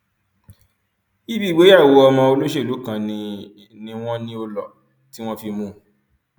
ibi ìgbéyàwó ọmọ olóṣèlú kan ni ni wọn ní ó lọ tí wọn fi mú un